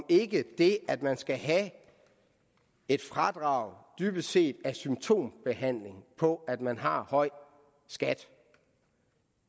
ikke det at man skal have et fradrag dybest set er symptombehandling på at man har høj skat